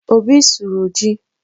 Obi sụrụ ji